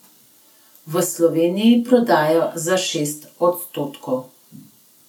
V Sloveniji prodajo za šest odstotkov.